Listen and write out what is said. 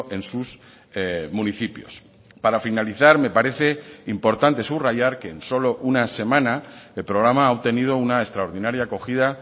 en sus municipios para finalizar me parece importante subrayar que en solo una semana el programa ha obtenido una extraordinaria acogida